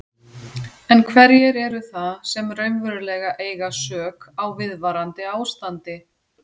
En hverjir eru það sem raunverulega eiga sök á viðvarandi ástandi?